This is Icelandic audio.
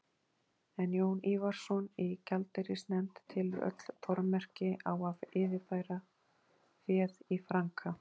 En Jón Ívarsson í gjaldeyrisnefnd telur öll tormerki á að yfirfæra féð í franka.